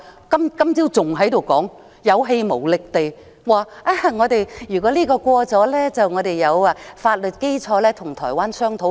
今早，林鄭月娥還有氣無力地說，如果修例建議獲得通過，我們便會有法律基礎跟台灣商討。